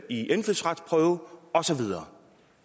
i indfødsretsprøven og så videre